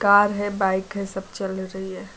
Car है bike है सब चल रही है।